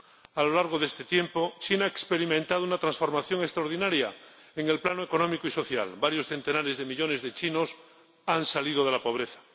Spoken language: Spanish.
A lo largo de este tiempo, China ha experimentado una transformación extraordinaria en el plano económico y social varios centenares de millones de chinos han salido de la pobreza.